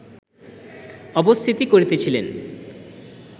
অবস্থিতি করিতেছিলেন